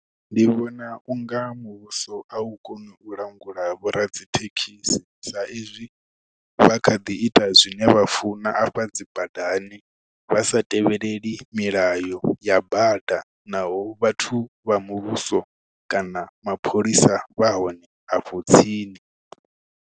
Ndi vhona unga muvhuso a u koni u langula vhoradzithekhisi saizwi vha kha ḓi ita zwine vha funa afha dzi badani vha sa tevheleleli milayo ya bada naho vhathu vha muvhuso kana mapholisa vha hone afho tsini.